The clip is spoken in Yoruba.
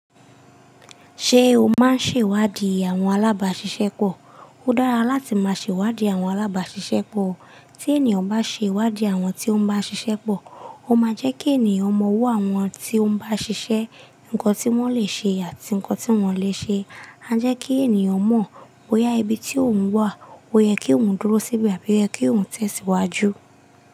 Ṣé o máa ń ṣèwádìí àwọn alábáṣiṣẹ́ pọ̀? Ó dára láti máa ṣèwádìí àwọn alábáṣiṣẹ́ pọ̀. Tí ènìyàn bá ṣèwádìí àwọn tí ó ń bá ṣiṣẹ́ pọ̀, ó máa jẹ́ kí ènìyàn mọ̀ ọwọ́ àwọn tí ó ń bá ṣiṣẹ́, nǹkan tí wọ́n lè ṣe àti nǹkan tí wọn lè ṣe. A jẹ́ kí ènìyàn mọ̀ ó yá ibi tí òun wà, ó yẹ kí òun dúró síbì, àbí yẹ kí òun tẹ̀síwájú.